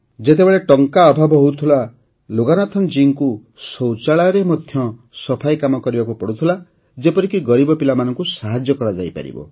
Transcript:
ଯେତେବେଳେ ଟଙ୍କା ଅଭାବ ହେଉଥିଲା ଲୋଗାନାଥନ ଜୀଙ୍କୁ ଶୌଚାଳୟରେ ମଧ୍ୟ ସଫା କାମ କରିବାକୁ ପଡ଼ୁଥିଲା ଯେପରିକି ଗରିବ ପିଲାମାନଙ୍କୁ ସାହାଯ୍ୟ କରାଯାଇପାରିବ